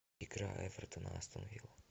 игра эвертон астон вилла